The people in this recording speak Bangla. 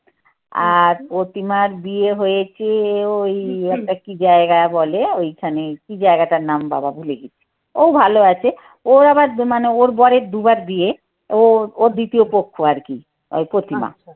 আর প্রতিমার বিয়ে হয়েছে ওই একটা কি জায়গায় বলে ওইখানে কি জায়গাটার নাম বাবা ভুলে গেছি। ও ভালো আছে। ওর আবার মানে ওর বরের দুবার বিয়ে ও ওর দ্বিতীয় পক্ষ আর কি ওই প্রতিমা।